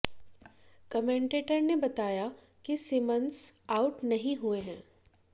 commentator ने बताया कि सिमन्स आउट नहीं हुए हैं